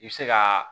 I bɛ se ka